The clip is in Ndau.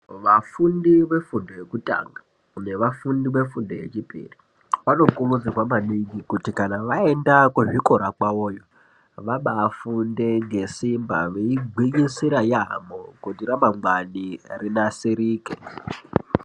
Vafundi vefundo yekutanga nevafundi vefundo yechipiri vanokurudzirwa maningi kuti vaenda kuzvikora kwavovo vabafunde ngesimba veigwinyisira yaamho kuti ramangwani rinasirike.